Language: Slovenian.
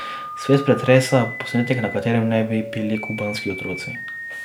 Svet pretresa posnetek, na katerem naj bi bili kubanski otroci.